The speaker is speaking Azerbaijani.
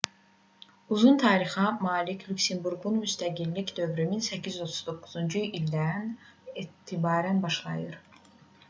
uzun tarixə malik lüksemburqun müstəqillik dövrü 1839-cu ildən etibarən başlayır